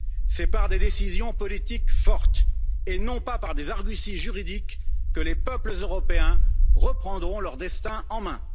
C'est par des décisions politiques fortes et non pas par des arguties juridiques que les peuples européens reprendront leur destin en main.